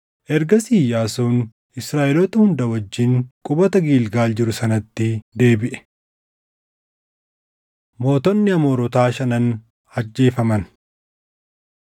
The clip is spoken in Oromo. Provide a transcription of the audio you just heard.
Ergasii Iyyaasuun Israaʼeloota hunda wajjin qubata Gilgaal jiru sanatti deebiʼe. Mootonni Amoorotaa Shanan Ajjeefaman